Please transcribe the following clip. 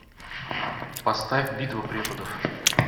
поставь битва преподов